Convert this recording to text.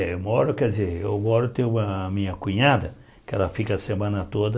Eu moro, quer dizer, eu moro tem uma a minha cunhada, que ela fica a semana toda.